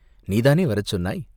நீதானே வரச் சொன்னாய்?